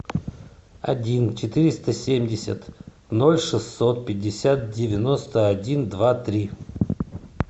один четыреста семьдесят ноль шестьсот пятьдесят девяносто один два три